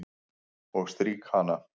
Og strýk hana.